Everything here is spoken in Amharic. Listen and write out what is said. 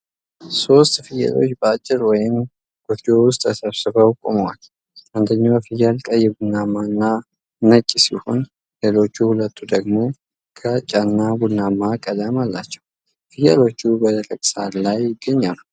ሶስት ፍየሎች በአጥር ወይም ጎጆ ውስጥ ተሰብስበው ቆመዋል። አንደኛው ፍየል ቀይ ቡናማና ነጭ ሲሆን፣ ሌሎቹ ሁለቱ ደግሞ ግራጫና ቡናማ ቀለም አላቸው። ፍየሎቹ በደረቅ ሳር ላይ ይገኛሉ።